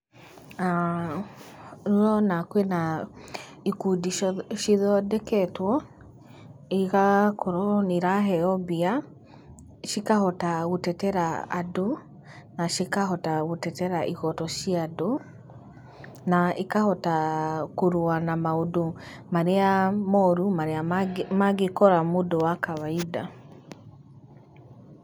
Ũrona kwĩna ikundi cithondeketwo, igakorwo nĩ iraheo mbia, cikahota gũtetera andũ, na cikahota gũtetera ihoto cia andu, na ikahota kũrũa na maũndũ marĩa moru, marĩa mangĩkora mũndũ wa kawaida.